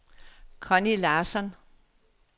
Conni Larsson